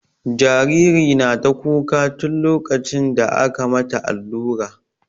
Jariri na ta kuka tun lokacin da aka mata allura.